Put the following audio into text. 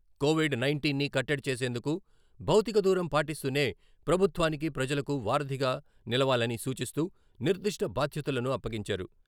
Covid nineteen ని కట్టడి చేసేందుకు భౌతిక దూరం పాటిస్తూనే ప్రభుత్వానికి, ప్రజలకు వారధిగా నిలవాలని సూచిస్తూ నిర్దిష్ట బాధ్యతలను అప్పగించారు.